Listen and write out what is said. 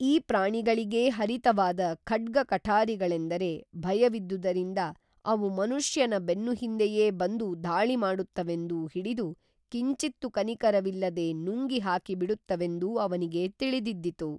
ಈ ಪ್ರಾಣಿಗಳಿಗೇ ಹರಿತವಾದ ಖಡ್ಗಕಠಾರಿಗಳೆಂದರೆ ಭಯವಿದ್ದುದರಿಂದ ಅವು ಮನುಷ್ಯನ ಬೆನ್ನು ಹಿಂದೆಯೇ ಬಂದು ಧಾಳಿ ಮಾಡುತ್ತವೆಂದೂ ಹಿಡಿದು ಕಿಂಚಿತ್ತೂ ಕನಿಕರವಿಲ್ಲದೆ ನುಂಗಿ ಹಾಕಿ ಬಿಡುತ್ತವೆಂದೂ ಅವನಿಗೇ ತಿಳಿದಿದ್ದಿತು